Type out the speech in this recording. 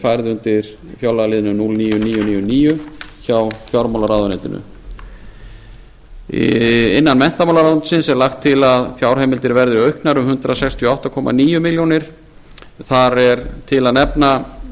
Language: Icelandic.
færð undir fjárlagaliðinn núll níu þúsund níu hundruð níutíu og níu hjá fjármálaráðuneytinu innan menntamálaráðuneytisins er lagt til að fjárheimildir verði auknar um hundrað sextíu og átta komma níu milljónir króna þar er til að nefna